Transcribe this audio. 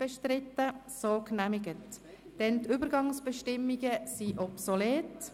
Der Antrag auf Übergangsbestimmungen ist obsolet.